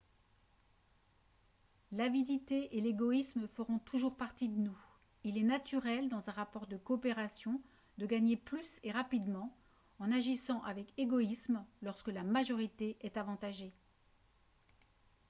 l'avidité et l'égoïsme feront toujours partie de nous il est naturel dans un rapport de coopération de gagner plus et rapidement en agissant avec égoïsme lorsque la majorité est avantagée